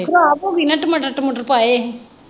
ਖਰਾਬ ਹੋ ਗਈ ਨਾ ਟਮਾਟਰ ਟਮੁਟਰ ਪਾਏ ਹੀ।